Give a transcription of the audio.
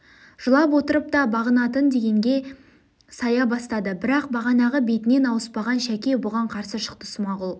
жылап отырып та бағынатын дегенге сая бастады бірақ бағанағы бетінен ауыспаған шәке бұған қарсы шықты смағұл